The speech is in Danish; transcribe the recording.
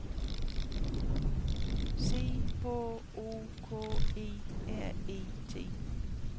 C H O K E R E T